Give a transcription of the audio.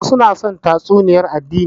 Wasu na son tatsuniyar addini